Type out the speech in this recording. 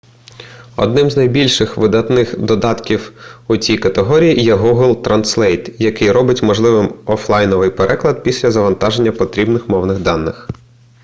одним з найбільш видатних додатків у цій категорії є гугл транслейт який робить можливим офлайновий переклад після завантаження потрібних мовних даних